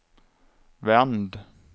vänd